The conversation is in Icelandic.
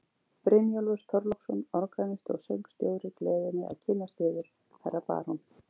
Brynjólfur Þorláksson, organisti og söngstjóri, gleður mig að kynnast yður, herra barón.